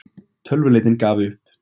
Tölvuleitin gaf upp